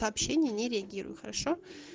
сообщение не реагирую хорошо